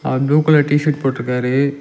அங் blue colour T shirt போட்ருக்காரு.